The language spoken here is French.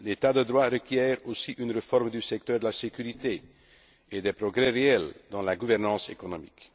L'état de droit requiert aussi une réforme du secteur de la sécurité et des progrès réels dans la gouvernance économique.